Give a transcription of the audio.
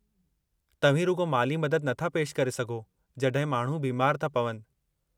तव्हीं रुॻो माली मदद नथा पेशि करे सघो जड॒हिं माण्हू बीमारु था पवनि।